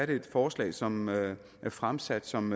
det et forslag som er fremsat som